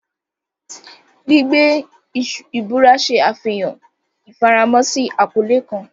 Gbigbe ibura ṣe afihan ifaramo si akọle kan.